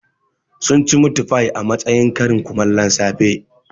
Sun ci mitfai a matsayin karin kumallon safe